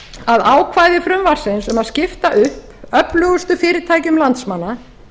að ákvæði frumvarpsins um að skipta upp öflugustu orkufyrirtækjum landsmanna